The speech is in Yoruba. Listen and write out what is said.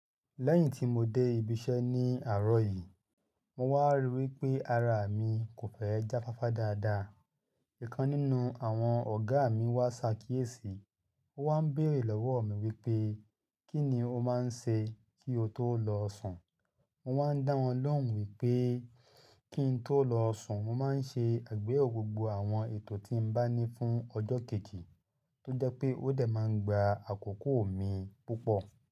Lẹ́yìn tí mo dé ibi iṣẹ́ ní àárọ̀ yìí, mo wá ríi wí pé ara mi kò fẹ́ jáfáfá dáadáa. Ìkan nínú àwọn ọ̀gá mi wá ṣàkíyèsí, ó wá ń bèrè lọ́wọ́ mi wípé kí ni ó máa ń ṣe kí ó tó lọ sùn. Mo wá ń dá wọn lóhùn wípé kí ń tó lọ sùn mo máa ń ṣe àgbéyẹ̀wò gbogbo àwọn ètò tí ń bá ní fún ọjọ́ kéji, tó jẹ́ pé ó dẹ̀ máa ń gba àkókò mi púpọ̀.